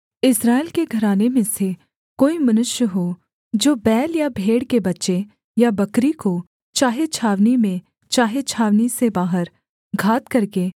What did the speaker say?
इस्राएल के घराने में से कोई मनुष्य हो जो बैल या भेड़ के बच्चे या बकरी को चाहे छावनी में चाहे छावनी से बाहर घात करके